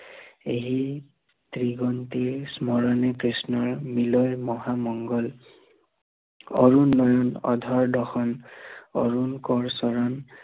এহি ত্ৰিগন্তে স্মৰণে কৃষ্ণৰ মিলয় মহামংগল অৰুণ অধৰ দশম, অৰুণ কৰ চৰণ